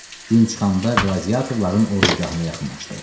Gün çıxanda qladiyatorların ordugahına yaxınlaşdı.